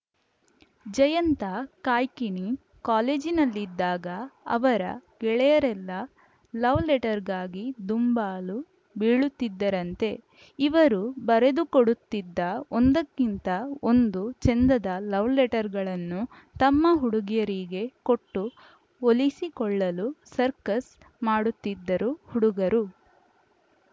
ಜಯಂತ ಕಾಯ್ಕಿಣಿ ಕಾಲೇಜಿನಲ್ಲಿದ್ದಾಗ ಅವರ ಗೆಳೆಯರೆಲ್ಲ ಲವ್‌ ಲೆಟರ್‌ಗಾಗಿ ದುಂಬಾಲು ಬೀಳುತ್ತಿದ್ದರಂತೆ ಇವರು ಬರೆದುಕೊಡುತ್ತಿದ್ದ ಒಂದಕ್ಕಿಂತ ಒಂದು ಚೆಂದದ ಲವ್‌ ಲೆಟರ್‌ಗಳನ್ನು ತಮ್ಮ ಹುಡುಗಿಯರಿಗೆ ಕೊಟ್ಟು ಒಲಿಸಿಕೊಳ್ಳಲು ಸರ್ಕಸ್‌ ಮಾಡುತ್ತಿದ್ದರು ಹುಡುಗರು